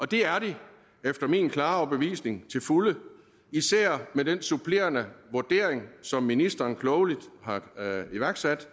det er de efter min klare overbevisning til fulde især med den supplerende vurdering som ministeren klogeligt har iværksat